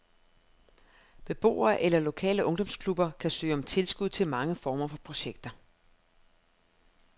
Beboere eller lokale ungdomsklubber kan søge om tilskud til mange former for projekter.